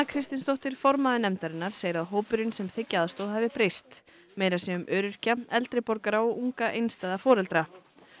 Kristinsdóttir formaður nefndarinnar segir að hópurinn sem þiggi aðstoð hafi breyst meira sé um öryrkja eldri borgara og unga einstæða foreldra